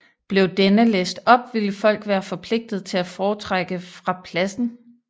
Blev denne læst op ville folk være forpligtet til at fortrække fra pladsen